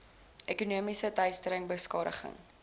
ekonomiese teistering beskadiging